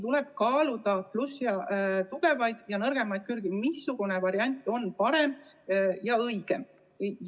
Tuleb kaaluda tugevaid ja nõrku külgi, seda, missugune variant on parem ja õigem.